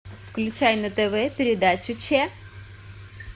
включай на тв передачу че